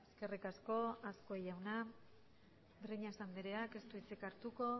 eskerrik asko azkue jauna breñas andrea ez du hitzik hartuko